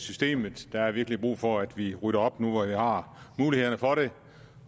systemet der er virkelig brug for at vi rydder op nu hvor vi har mulighederne for det